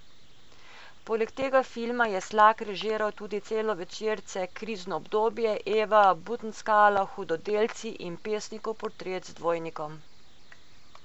Poleg tega filma je Slak režiral tudi celovečerce Krizno obdobje, Eva, Butnskala, Hudodelci in Pesnikov portret z dvojnikom.